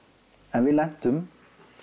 en við lentum